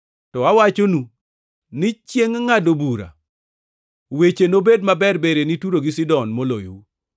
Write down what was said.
To awachonu ni chiengʼ ngʼado bura weche nobed maberber ne Turo gi Sidon moloyou.